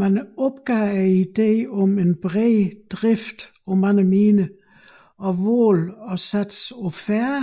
Man opgav ideen om bred drift på mange miner og valgte at satse på færre